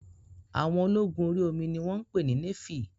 Àwọn ológun orí omi ni wọ́n pè ní néfì